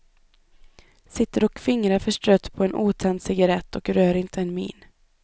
Sitter och fingrar förstrött på en otänd cigarett och rör inte en min.